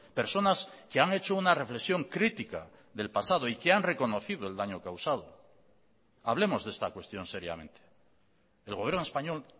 personas que han hecho una reflexión crítica del pasado y que han reconocido el daño causado hablemos de esta cuestión seriamente el gobierno español